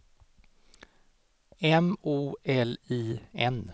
M O L I N